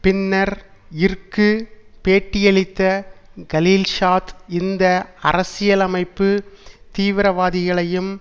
பின்னர் இற்கு பேட்டியளித்த கலில்ஷாத் இந்த அரசியலமைப்பு தீவிரவாதிகளையும்